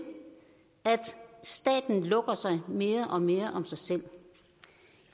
at staten lukker sig mere og mere om sig selv